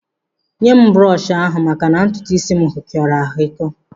Nye m brọshị ahụ maka na ntutuisi m hịkọrọ ahikọ